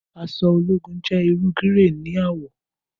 Aṣọ ologun jẹ iru grẹy ni awọ